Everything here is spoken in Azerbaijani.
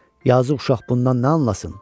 Yazıq uşaq bundan nə anlasın?